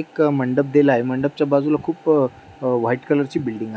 एक मंडप दिलाय. मंडपच्या बाजूला खुप अह व्हाइट कलरची बिल्डिंग आहे.